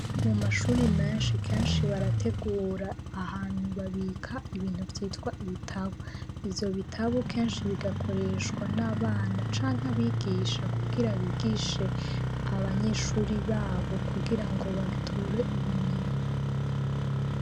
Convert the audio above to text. Mu mashuri menshi kenshi barategura ahantu babika ibintu vyitwa ibitabo ivyo bitabo kenshi bigakoreshwa n'abana canke abigisha kugira bigishe abanyeshuri babo kugira ngo bature ubumenyi.